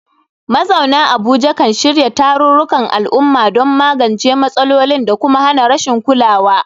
Mazauna Abuja kan shirya tarurrukan al'umma don magance matsalolin da kuma hana rashin kulawa.